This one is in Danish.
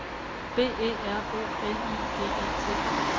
B E R O L I G E T